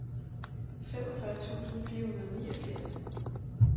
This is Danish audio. femogfyrre tusind fire hundrede og niogfirs